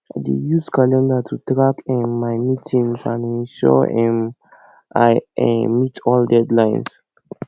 i dey use calendar to track um my meetings and ensure um i um meet all deadlines